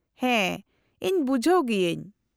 -ᱦᱮᱸ , ᱤᱧ ᱵᱩᱡᱷᱟᱹᱣ ᱜᱤᱭᱟᱹᱧ ᱾